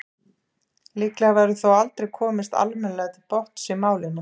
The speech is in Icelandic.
líklega verður þó aldrei komist almennilega til botns í málinu